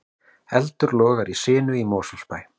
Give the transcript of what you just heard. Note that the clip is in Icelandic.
Eldur logar í sinu í Mosfellsbæ